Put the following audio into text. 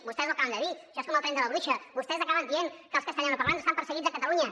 vostès ho acaben de dir això és com el tren de la bruixa vostès acaben dient que els castellanoparlants estan perseguits a catalunya